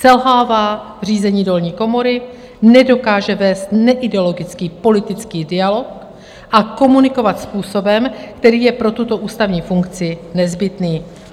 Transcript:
Selhává v řízení dolní komory, nedokáže vést neideologický politický dialog a komunikovat způsobem, který je pro tuto ústavní funkci nezbytný.